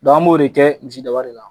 Dɔnki an b'o de kɛ misi da wari in na